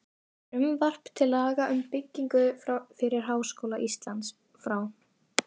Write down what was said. Frumvarp til laga um byggingu fyrir Háskóla Íslands, frá